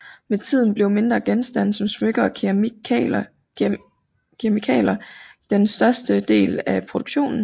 Med tiden blev mindre genstande som smykker og keramikkakler den største del av produktionen